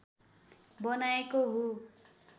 बनाएको हो